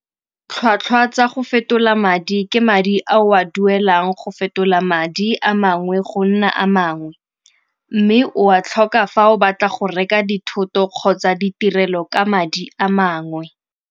Tlhwatlhwa tsa go fetola madi ke madi a o a duelang go fetola madi a mangwe go nna a mangwe. Mme o a tlhoka fa o batla go reka dithoto kgotsa ditirelo ka madi a mangwe.